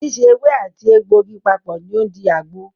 Síse ewé àti àti egbògi papọ̀ ní o ń di àgbo.